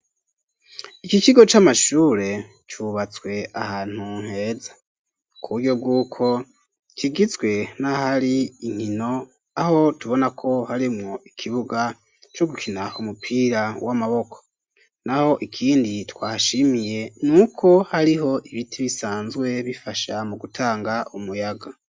Ikikigo c'amashure cubatswe ahantu nkeza ku buryo bw'uko kigizwe nahari inkino aho tubona ko harimwo ikibuga co gukina kumupira w'amaboko, naho ikindi twashimiye ni uko hariho ibiti bisanzwe bifashe shaha mu gutanga umuyaga.